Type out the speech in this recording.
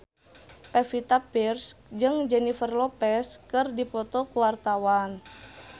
Pevita Pearce jeung Jennifer Lopez keur dipoto ku wartawan